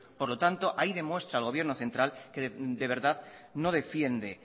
por lo tanto ahí demuestra el gobierno central que de verdad no defiende